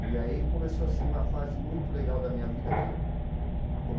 E aí começou assim uma fase muito legal da minha vida que.